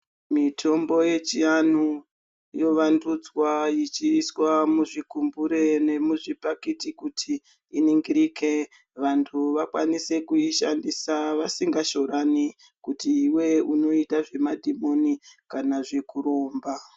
Mitombo yechiandu yovandudzwa ichiiswa muzvigumbure nemuzvibhakiti kuti iningirike vantu vakwanise kuishandisa vasingashorani kuti iwe unoita zvemadhimoni kana zvekuromba.